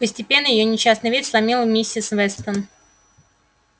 постепенно её несчастный вид сломил миссис вестон